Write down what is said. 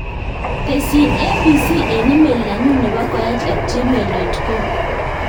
Tesyin abc en email nenyun nepo koech at gmail dot com